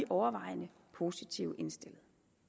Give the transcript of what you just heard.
overvejende positivt indstillet